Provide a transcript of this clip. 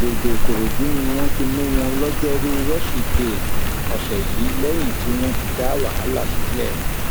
àgbègbè ìkòròdú ni wọn ti mú wọn lọjọrùú wíṣídẹẹ ọsẹ yìí lẹyìn tí wọn ti dá wàhálà sílẹ